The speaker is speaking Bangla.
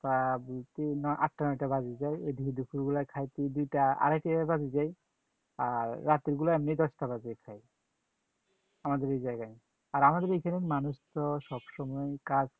প্রায় আটটা নয়টা বেজে যায়, এদিকে দুপুরবেলা খাইতে দুইটা আড়াইটা বেজে যায়, আর রাতের গুলা এমনেই দশটা বাজিয়ে খায়, আমাদের এই জায়গায়, আর আমাদের এইখানে মানুষ তো সবসময় কাজ